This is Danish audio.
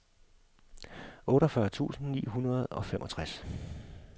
otteogfyrre tusind ni hundrede og femogtres